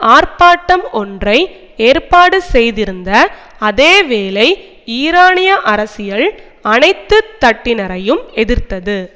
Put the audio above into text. ஆர்ப்பாட்டம் ஒன்றை ஏற்பாடு செய்திருந்த அதே வேளை ஈரானிய அரசியல் அனைத்து தட்டினரையும் எதிர்த்தது